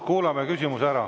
Kuulame küsimuse ära.